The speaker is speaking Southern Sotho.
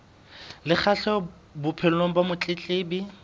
le kgahleho bophelong ba motletlebi